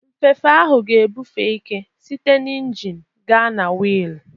Nfefe ahụ ga-ebufe ike site na injin gaa na wiil.